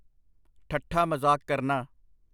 ਠੱਠਾ ਮਜ਼ਾਕ ਕਰਨਾ।